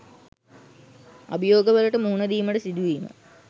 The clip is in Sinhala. අභියෝගවලට මුහුණ දීමට සිදුවීම